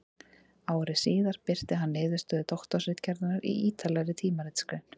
Ári síðar birti hann niðurstöður doktorsritgerðarinnar í ýtarlegri tímaritsgrein.